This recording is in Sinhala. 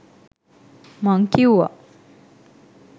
මං කිව්වා.